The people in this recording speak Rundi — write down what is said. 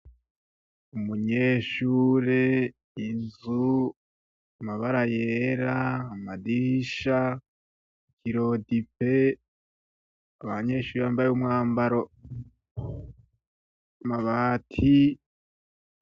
Abanyeshure, inzu, amabara yera, amadirisha, irodipe, abanyeshure bambaye umwambaro, amabati.